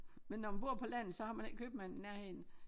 Men når man bor på landet så har man ikke købmanden i nærheden